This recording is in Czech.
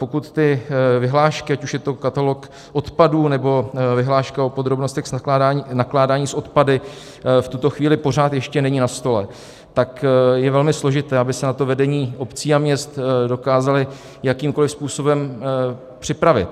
Pokud ty vyhlášky, ať už je to katalog odpadů, nebo vyhláška o podrobnostech nakládání s odpady, v tuto chvíli pořád ještě nejsou na stole, tak je velmi složité, aby se na to vedení obcí a měst dokázala jakýmkoliv způsobem připravit.